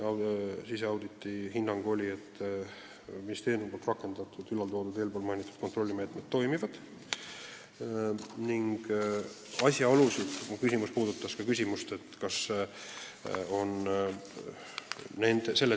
Siseauditi hinnang oli, et ministeeriumis rakendatud kontrollimeetmed toimivad ning viidatud asjaolusid kontrolli käigus ei tuvastanud.